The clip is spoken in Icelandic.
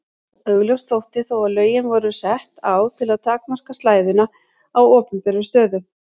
Augljóst þótti þó að lögin voru sett á til að takmarka slæðuna á opinberum stöðum.